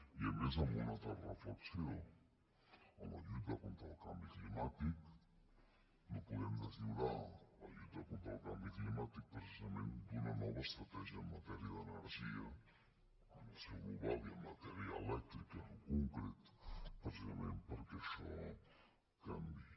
i a més amb una altra reflexió en la lluita contra el canvi climàtic no podem deslliurar la lluita contra el canvi climàtic precisament d’una nova estratègia en matèria d’energia en el seu global i en matèria elèctrica en concret precisament perquè això canviï